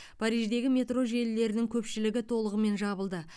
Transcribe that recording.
париждегі метро желілерінің көпшілігі толығымен жабылды